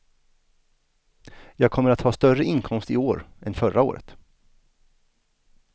Jag kommer att ha större inkomst i år än förra året.